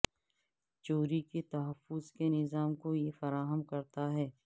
چوری کے تحفظ کے نظام کو یہ فراہم کرتا ہے